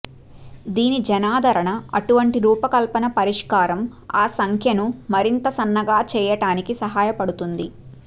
దీని జనాదరణ అటువంటి రూపకల్పన పరిష్కారం ఆ సంఖ్యను మరింత సన్నగా చేయటానికి సహాయపడుతుంది